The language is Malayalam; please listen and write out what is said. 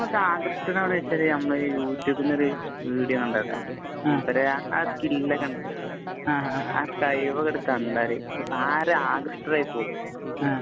ആകൃഷ്ടനാകുക എന്ന് വച്ചാല് നമ്മള് യു ടുബില്‍ നിന്ന് ഒരു വീഡിയോ കണ്ടിട്ടാണ്. ആ സ്കില്‍ ഒക്കെ കണ്ടിട്ട് ആകണ്ടാല് ആരും ആകൃഷ്ടരായി പോകും.